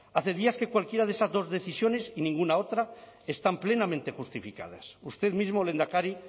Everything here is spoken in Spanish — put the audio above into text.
hace días que cualquiera de esas dos decisiones y ninguna otra están plenamente justificadas usted mismo lehendakari